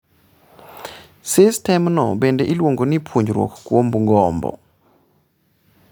Sistemno bende iluongo ni puonjruok kuom gombo.